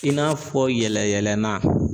I n'a fɔ yɛlɛyɛlɛnan